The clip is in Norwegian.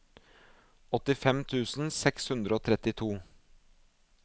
åttifem tusen seks hundre og trettito